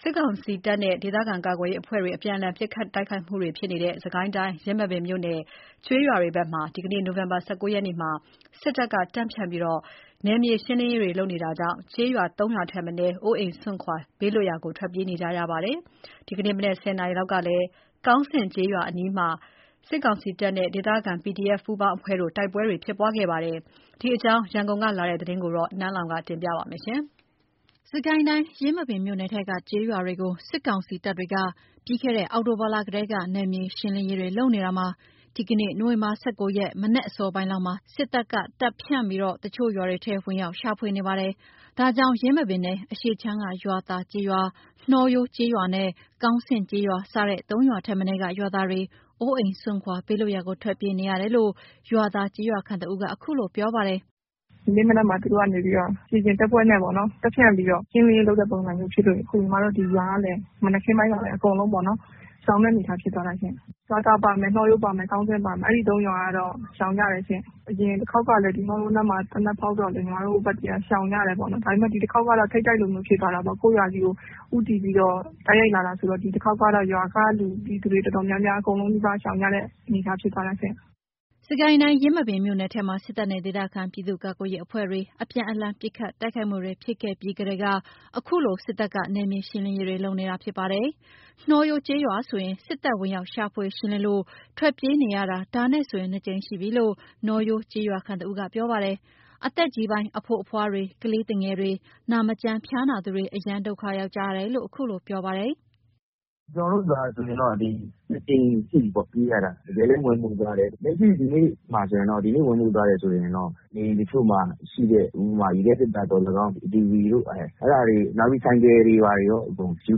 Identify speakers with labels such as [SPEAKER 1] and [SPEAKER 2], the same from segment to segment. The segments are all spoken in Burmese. [SPEAKER 1] စစ်ကောင်စီတပ်နဲ့ ဒေသခံကာကွယ်ရေးအဖွဲ့တွေ အပြန်အလှန်ပစ်ခတ်တွနေတဲ့ စစ်ကိုင်းတိုင်း ယင်းမာပင်မြို့နယ် ကျေးရွာတွေဘက်မှာ ဒီနေ့ နိုဝင်ဘာ ၁၉ ရက်နေ့မှာ စစ်တပ်တွေ တပ်ဖြန့်ပြီး နယ်မြေရှင်းလင်းရေးလုပ်တာကြောင့် ကျေးရွာ ၃ ရွာထက်မနည်း အိုးအိမ်စွန့်ခွာ ဘေးလွတ်ရာကို ထွက်ပြေးနေကြရပါတယ်။ ဒီနေ့ မနက် ၁၀ နာရီလောက်ကလည်းကောင်းဆင့်ကျေးရွာအနီးမှာ စစ်ကောင်စီနဲ့ ဒေသခံ PDF ပူးပေါင်းအဖွဲ့တို့ တိုက်ပွဲဖြစ်ပွားခဲ့ပါတယ်။ ဒီအကြောင်း ရန်ကုန်ကလာတဲ့ သတင်းကို နန်းလောင်ဝ်က တင်ပြပေးထားပါတယ်။
[SPEAKER 2] စစ်ကိုင်းတိုင်း ယင်းမာပင်မြို့နယ်ထဲက ကျေးရွာတွေကို စစ်ကောင်စီတပ်တွေက ပြီးခဲ့တဲ့ အောက်တိုဘာလထဲက နယ်မြေရှင်းလင်းရေးတွေ လုပ်နေတာမှာ ဒီနေ့ နိုဝင်ဘာ ၁၉ ရက် ဒီနေ့ မနက်အစောပိုင်းလောက်မှာ စစ်တပ်ကတပ်ဖြန့်ပြီး တချို့ ရွာတွေထဲ ဝင်ရောက် ရှာဖွေမှုနေပါတယ်။ ဒါကြောင့် ယင်းမာပင်နယ် အရှေ့ခြမ်းက ရွာသာကျေးရွာ၊ နှောရိုးကျေးရွာနဲ့ ကောင်းဆင့်ကျေးရွာ၊ စတဲ့ ၃ ရွာထက်မနည်းက ရွာသားတွေအိုးအိမ်စွန်ခွာ ဘေးလွတ်ရာကို ထွက်ပြေးနေကြရတယ်လို့ ရွာသာကျေးရွာခံတဦးက အခုလို ပြောပါတယ်
[SPEAKER 3] ။ “ဒီနေ့ မနက်မှာ သူတို့ကနေပြီးတော့ ခြေလျင်တပ်ဖွဲ့နဲ့ပေါ့နော်၊ တပ်ဖြန့်ပြီးတော့ ရှင်းလင်းရေးလုပ်တဲ့ ပုံစံမျိုး ဖြစ်လို့ အခုညီမတို့ဒီရွာကလည်း မနက်ခင်းပိုင်းပါပဲ အကုန်လုံးပေါ့နော်၊ရှောင်တဲ့အနေအထားဖြစ်သွားတာရှင့်၊ ရွာသာပါမယ်၊ နှောရိုးပါမယ်၊ ကောင်းဆင့်ပါမယ်၊ အဲ့ဒီသုံးရွာကတော့ ရှောင်ကြတယ်ရှင့်၊ အရင်တခေါက်ကလည်း ကျမတို့နားမှာ သေနတ်ဖောက်တော့လေ- ညီမတို့ဘက်က ရှောင်ကြတာပေါ့နော်၊ ဒါပေမယ့် ဒီတခေါက်ကတော့ ထိပ်တိုက်လိုမျိုးဖြစ်သွားတာပေါ့။ ကိုယ့်ရွာကြီးကို ဦးတည်ပြီးတော့ တိုက်ရိုက်လာတယ်ဆိုတော့ ဒီတခေါက်ကတော့ ရွာကလူတွေ တော်တော်များများ အကုန်လုံးနီးပါး ရှောင်ကြတဲ့ အနေအထားဖြစ်သွားတယ်။”
[SPEAKER 2] စစ်ကိုင်းတိုင်း ယင်းမာပင်မြို့နယ်ထဲမှာ စစ်တပ်နဲ့ ဒေသခံပြည်သူ့ကာကွယ်ရေးအဖွဲ့တွေ အပြန်အလှန် ပစ်ခတ်တိုက်ခိုက်ခဲ့ပြီးကတည်းက အခုလို စစ်တပ်က နယ်မြေရှင်းလင်းနေတာဖြစ်ပါတယ်။ နှောရိုးကျေးရွာဆိုရင် စစ်တပ် ဝင်ရောက် ရှာဖွေ ရှင်းလင်းလို့ ထွက်ပြေးနေရတာ ဒါနဲ့ဆိုရင် နှစ်ကြိမ်ရှိပြီလို့ နှောရိုးကျေးရွာခံ တဦးက ပြောပါတယ်။အသက်ကြီးပိုင်း အဖိုးအဖွားတွေ ကလေးသူငယ်တွေ နာမကျန်း ဖျားနာသူတွေ အရမ်းဒုက္ခ ရောက်ကြတယ်လို့ အခုလို ပြောပါတယ်။
[SPEAKER 4] “ကျနော်တို့ရွာဆိုရင်တော့ နှစ်ကြိမ်ရှိပြီပေါ့ ပြေးရတာ။ တကယ်လည်း ဝင်မွှေတယ်၊ လက်ရှိ ဒီနေ့ဝင်မွှေသွားတယ်ဆိုရင်တော့ နေအိမ်တချို့မှာရှိတဲ့ ဥပမာ ရေခဲသေတ္တာသော်လည်ကောင်း၊ TV တို့ အဲ့ဒါတွေ နောက်ပြီး ဆိုင်ကယ်တွေဘာတွေရော အကုန်ယူ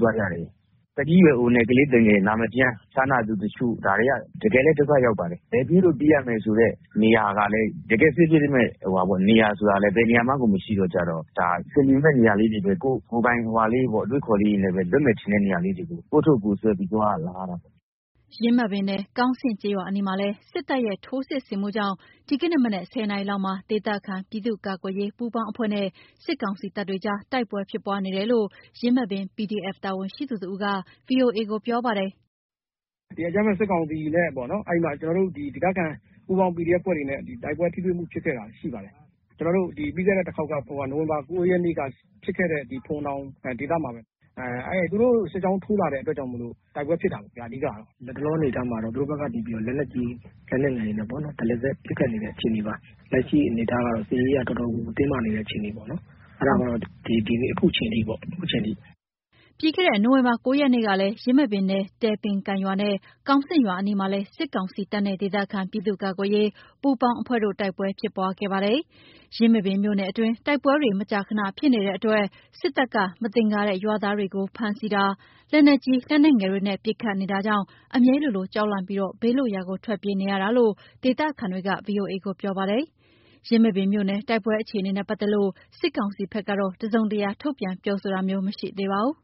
[SPEAKER 4] သွားကြတယ်ဗျ၊ သက်ကြီးရွယ်အိုနဲ့ ကလေးသူငယ်၊ နာမကျန်း ဖျားနာသူတချို့ ဒါတွေက တကယ်လည်း ဒုက္ခရောက်ပါတယ်။ ဘယ်ပြေးလို့ ပြေးရမယ်ဆိုတဲ့ နေရာကလည်း တကယ့် safe ဖြစ်မယ့်နေရာဆိုတာလည်း ဘယ်နေရာမှကို မရှိတော့ ဒါ အဆင်ပြေမယ့် နေရာလေးတွေပဲ ကိုယ့်ကိုယ်ပိုင် အတွေးအခေါ်တွေနဲ့ပဲ လွတ်မယ်ထင်တဲ့ နေရာလေးကို ကိုယ့်အထုပ်ကိုယ်ဆွဲပြီး သွားရလာရတာပေါ့။”
[SPEAKER 2] ယင်းမာပင်နယ် ကောင်းဆင့်ကျေးရွာအနီးမှာလည်းစစ်တပ်ရဲ့စစ်ထိုးဆင်မှုကြောင့် ဒီနေ့ မနက် ၁၀ နာရီလောက်မှာ ဒေသခံ ပြည်သူ့ကာကွယ်ရေးပူးပေါင်းအဖွဲ့နဲ့ စစ်ကောင်စီတပ်တွေကြား တိုက်ပွဲဖြစ်ပွားနေတယ်လို့ ယင်းမာပင် PDF တာဝန်ရှိသူတစ်ဦးက VOA ကို ပြောပါတယ်
[SPEAKER 4] ။ “ကျနော်တို့ ပြီးခဲ့တဲ့တခေါက်က နိုဝင်ဘာ ၉ ရက်က ဖြစ်ခဲ့တဲ့ ဖိုဝင်တောင်ဒေသမှာပဲ၊ သူတို့ စစ်ကြောင်းထိုးလာတဲ့အတွက်ကြောင့်မို့လို့တိုက်ပွဲဖြစ်တာပေ့ါ အဓိကတော့။ လတ်တလောအနေအထားမှာတော့ သူတို့ကနေပြီးတော့ လက်နက်ကြီး လက်နက်ငယ်တွေနဲ့ပေါ့နော်၊ တရစပ် ပစ်ခတ်နေတဲ့ အခြေအနေပါ၊ လက်ရှိအနေအထားကတော့ စစ်ရေးအရ တော်တော်ကို တင်းမာနေတဲ့ အခြေအနေပေါ့နော်၊ အဲ့ဒါက အခုချိန်ထိပေ့ါ။”
[SPEAKER 2] ပြီးခဲ့တဲ့ နိုဝင်ဘာ ၉ ရက်နေ့ကလည်း ယင်းမာပင်နယ် တယ်ပင်ကန်ရွာနဲ့ ကောင်းဆင့်ရွာအနီးမှာလည်း စစ်ကောင်စီတပ်နဲ့ ဒေသခံ ပြည်သူ့ကာကွယ်ရေး ပူးပေါင်းအဖွဲ့တွေနဲ့ တိုက်ပွဲဖြစ်ပွားခဲ့ပါတယ်။ ယင်းမာပင်မြို့နယ်အတွင်း တိုက်ပွဲတွေ မကြာခဏဖြစ်နေတဲ့အတွက်၊ စစ်တပ်က မသင်္ကာတဲ့ ရွာသားတွေကို ဖမ်းဆီးတာ၊ လက်နက်ကြီး လက်နက်ငယ်တွေနဲ့ ပစ်ခတ်နေတာကြောင့် အမြဲလိုလို ကြောက်လန့်ပြီး ဘေးလွတ်ရာကို ထွက်ပြေးနေရတာလို့ ဒေသခံတွေက VOA ကို ပြောပါတယ်။ ယင်းမာပင်မြို့နယ် တိုက်ပွဲအခြေအနေနဲ့ ပတ်သက်လို့ စစ်ကောင်စီဘက်က တစုံတရာ ထုတ်ပြန် ပြောဆိုတာမျိုး မရှိသေးပါဘူး။